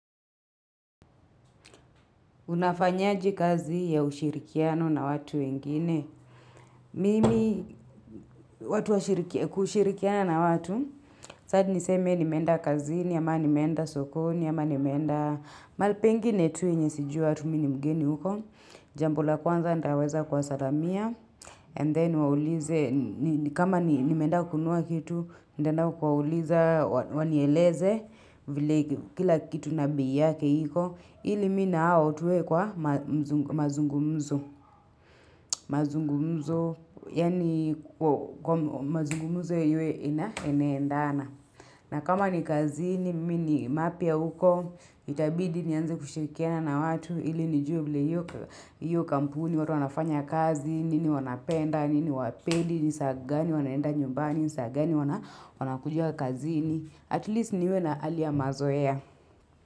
Unafanyaje kazi ya ushirikiano na watu wengine. Mimi watu washiriki kushirikiana na watu, sitaki niseme nimeenda kazini ama nimeenda sokoni ama nimeenda mahali pengine tu yenye sijui watu mimi ni mgeni uko. Jambo la kwanza nitaweza kuwasalamia. And then niwaulize, kama nimeenda kununua kitu, nitaenda kuwauliza wanieleze vile kila kitu na bei yake iko. Ili mi na hao tuwe kwa mazungumzo. Mazungumzo, yani kwa mazungumzo yenyewe inaendana. Na kama ni kazini, mi ni mapya uko, itabidi nianze kushirikiana na watu. Ili nijue vile hio kampuni, watu wanafanya kazi, nini wanapenda, nini hawapendi, ni saa gani wanaenda nyumbani, ni saa gani wanakuja kazini. At least niwe na hali ya mazoea.